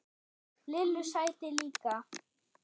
Lillu sæti líka.